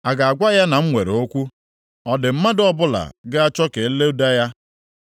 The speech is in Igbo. A ga-agwa ya na m nwere okwu? Ọ dị mmadụ ọbụla ga-achọ ka e loda ya?